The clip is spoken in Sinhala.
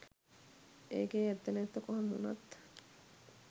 ඒකේ ඇත්ත නැත්ත කොහොම වුනත්